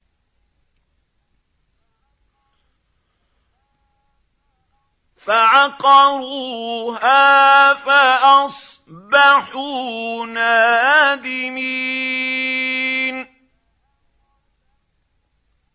فَعَقَرُوهَا فَأَصْبَحُوا نَادِمِينَ